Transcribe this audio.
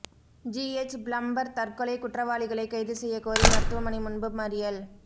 GH plumber தற்கொலை குற்றவாளிகளை கைது செய்யக்கோரி மருத்துவமனை முன்பு மறியல்